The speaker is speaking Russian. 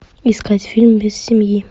искать фильм без семьи